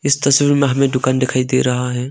इस तस्वीर में हमें दुकान दिखाई दे रहा है।